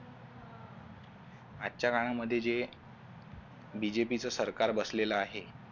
आजच्या काळामध्ये जे BJP च सरकार बसलेल आहे